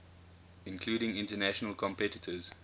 including international competitors